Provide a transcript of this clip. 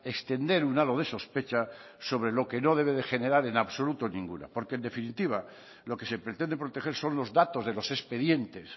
extender un halo de sospecha sobre lo que no debe de generar en absoluto ninguna porque en definitiva lo que se pretende proteger son los datos de los expedientes